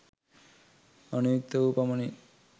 අනුයුක්ත වූ පමණින්